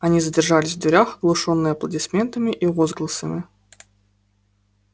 они задержались в дверях оглушённые аплодисментами и возгласами